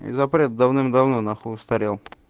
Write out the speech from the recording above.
и запрет давным давно нахуй устарел